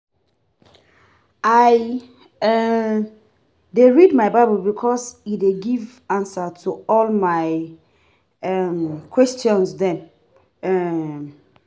I um dey read my Bible because e dey give answer to all my um question dem. um